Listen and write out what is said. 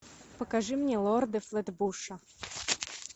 покажи мне лорды флетбуша